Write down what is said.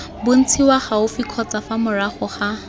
bontshiwa gaufi kgotsa fa morago